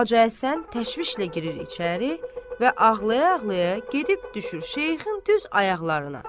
Hacı Həsən təşvişlə girir içəri və ağlaya-ağlaya gedib düşür Şeyxin düz ayaqlarına.